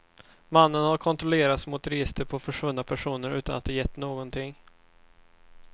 Mannen har kontrollerats mot registrer på försvunna personer utan att det gett någonting.